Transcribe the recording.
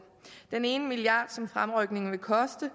den ene milliard kroner som fremrykningen vil koste